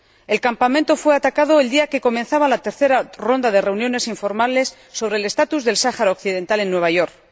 El campamento fue atacado el día en que comenzaba la tercera ronda de reuniones informales sobre el estatus del Sáhara Occidental en Nueva York.